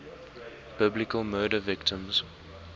biblical murder victims